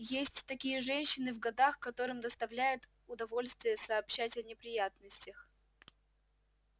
есть такие женщины в годах которым доставляет удовольствие сообщать о неприятностях